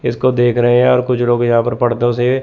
इसको देख रहे हैं और कुछ लोग यहां पर पर्दों से--